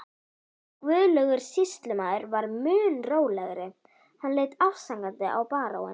Guðlaugur sýslumaður var mun rólegri, hann leit afsakandi á baróninn.